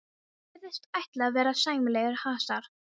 Virðist ætla að verða sæmilegur hasar.